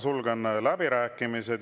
Sulgen läbirääkimised.